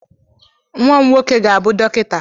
Nwa m nwoke ga-abụ dọkịta.